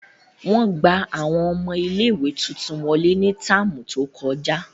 Wọn gba awọn ọmọ ìlé-ìwé tuntun wọle ni táámu to kọja.